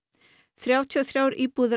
þrjátíu og þrjár íbúðir